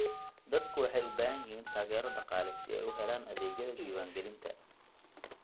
Dadku waxay u baahan yihiin taageero dhaqaale si ay u helaan adeegyada diiwaangelinta.